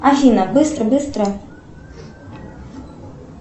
афина быстро быстро